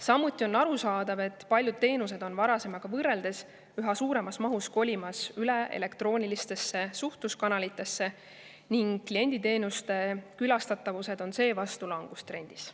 Samuti on arusaadav, et paljud teenused on varasemaga võrreldes üha suuremas mahus kolimas üle elektroonilistesse suhtluskanalitesse ning kliendi külastatavus on seevastu langustrendis.